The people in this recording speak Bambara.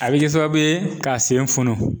A bi kɛ sababu ye k'a sen funun